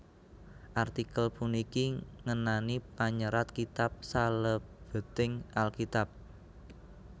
Artikel puniki ngenani panyerat kitab salebeting Alkitab